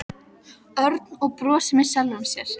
Örn og brosti með sjálfum sér.